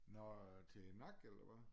Nå øh til nakke eller hvad